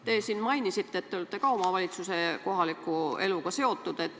Te mainisite, et te olete ka omavalitsuse ja kohaliku eluga seotud.